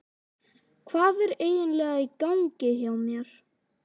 Hvað er eiginlega í gangi hjá mér?